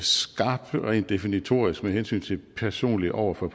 skarp rent definitorisk med hensyn til det personlige over for